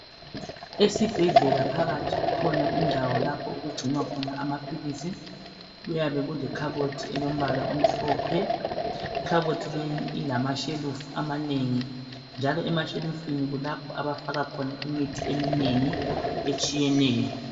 Esibhedlela phakathi kukhona indawo lapho okugcinwa khona amaphilisi. Kuyabe kuyikhabothi elombala omhlophe. Ikhabothi leyi ilamashelufu amanengi njalo emashelufini kulapho abafaka khona imithi eminengi etshiyeneyo.